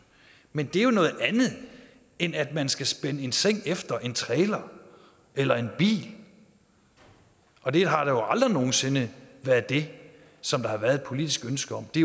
men det er jo noget andet end at man skal spænde en seng efter en trailer eller en bil og det har jo aldrig nogen sinde været det som der har været et politisk ønske om det